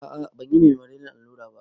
Ah ah banyi ma me maleriyan allura ba